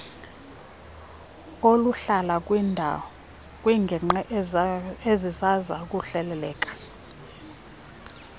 oluhlala kwiingingqi ezazisakuhleleleka